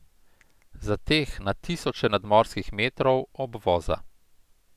Za teh na tisoče nadmorskih metrov obvoza.